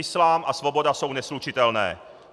Islám a svoboda jsou neslučitelné.